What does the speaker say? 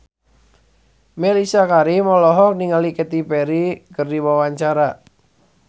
Mellisa Karim olohok ningali Katy Perry keur diwawancara